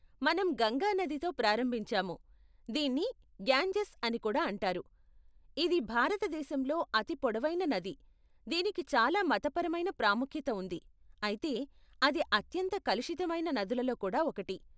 మనం గంగా నదితో ప్రారంభించాము, దీన్ని గ్యాన్జెస్ అని కూడా అంటారు, ఇది భారత దేశంలో అతి పొడవైన నది, దీనికి చాలా మతపరమైన ప్రాముఖ్యత ఉంది, అయితే, అది అత్యంత కలుషితమైన నదులలో కూడా ఒకటి.